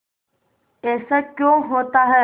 ऐसा क्यों होता है